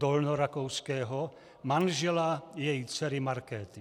Dolnorakouského, manžela její dcery Markéty.